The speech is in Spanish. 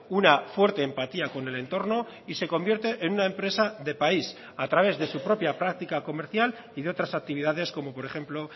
una fuerte empatía con el entorno y se convierte en una empresa de país a través de su propia práctica comercial y de otras actividades como por ejemplo